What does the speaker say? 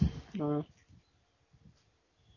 ஆஹ் சேரி